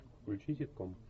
включи ситком